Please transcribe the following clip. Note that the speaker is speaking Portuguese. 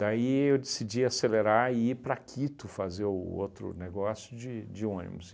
Daí eu decidi acelerar e ir para Quito fazer o outro negócio de de ônibus.